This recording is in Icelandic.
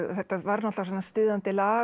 þetta var náttúrulega svona stuðandi lag